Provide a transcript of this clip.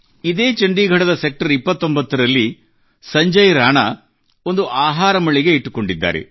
ಇದೇ ಚಂಡೀಗಢದ ಸೆಕ್ಟರ್ 29 ರಲ್ಲಿ ಸಂಜಯ್ ರಾಣಾ ಅವರು ಆಹಾರ ಮಳಿಗೆ ಇಟ್ಟುಕೊಂಡಿದ್ದಾರೆ